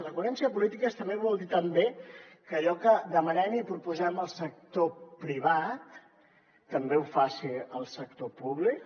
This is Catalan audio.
la coherència de polítiques també vol dir que allò que demanem i proposem al sector privat també ho faci el sector públic